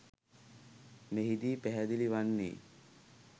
මෙහිදී පැහැදිලි වන්නේ